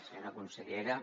senyora consellera